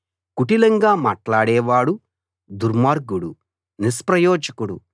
కుటిలంగా మాట్లాడేవాడు దుర్మార్గుడు నిష్ప్రయోజకుడు